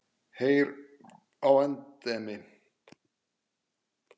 Heyr á endemi!